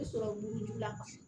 sɔrɔ mugujugu la